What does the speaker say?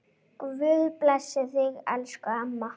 Guð blessi þig, elsku amma.